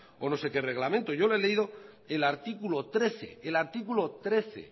o no sé qué reglamento yo le he leído el artículo trece